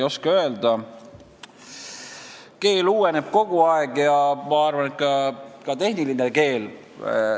Keel uueneb kogu aeg ja ma arvan, et ka tehniline keel.